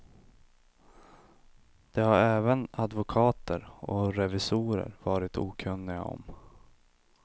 Det har även advokater och revisorer varit okunniga om.